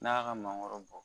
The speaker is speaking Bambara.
N'a ka mangoro bɔ